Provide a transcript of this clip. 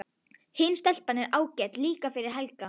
Hin stelpan er ágæt líka fyrir Helga.